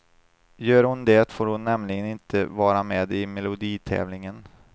Gör hon det får hon nämligen inte vara med i meloditävlingen.